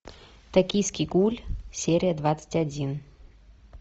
токийский гуль серия двадцать один